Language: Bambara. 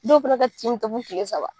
Dɔw fana ka tin bɛ taa fo tile saba.